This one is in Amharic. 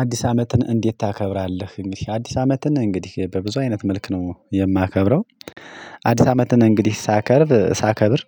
አዲስ አመትን እንዴት ታከብራለህ እንግዲህ አዲስ አመትን እንግዲህ በብዙ አይነት መልክ ነው የማከብረው። አዲስ አመትን እንግዲህ ሳከብር ሳከብር።